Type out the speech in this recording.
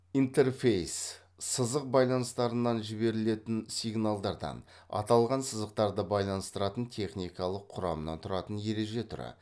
интерфейс сызық байланыстарынан жіберілетін сигналдардан аталған сызықтарды байланыстыратын техникалық құрамнан тұратын ереже түрі